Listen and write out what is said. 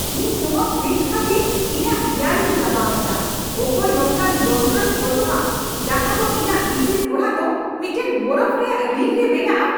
ᱤᱧ ᱱᱚᱶᱟ ᱯᱷᱨᱤᱡᱽ ᱠᱷᱟᱹᱛᱤᱨ ᱤᱧᱟᱹᱜ ᱜᱮᱭᱟᱱᱤᱧ ᱪᱟᱵᱟ ᱟᱠᱟᱫᱟ, ᱚᱠᱚᱭ ᱱᱚᱝᱠᱟᱱ ᱡᱚᱱᱛᱨᱚᱭ ᱠᱷᱚᱡᱚᱜᱼᱟ ᱡᱟᱦᱟ ᱫᱚ ᱤᱧᱟᱹᱜ ᱤᱥᱤᱱ ᱚᱲᱟᱜ ᱫᱚ ᱢᱤᱫᱴᱟᱝ ᱵᱚᱨᱚᱯᱷ ᱨᱮᱭᱟᱜ ᱨᱤᱝ ᱨᱮ ᱵᱮᱱᱟᱜᱼᱟ ?